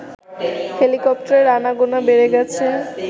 হেলিকপ্টারের আনাগোনা বেড়ে গেছে